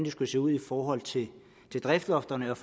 skulle se ud i forhold til driftslofterne og